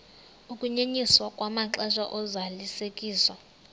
ukunyenyiswa kwamaxesha ozalisekiso